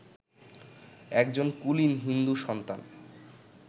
একজন কুলীন হিন্দু-সন্তান